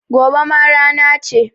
Gobe ma rana ce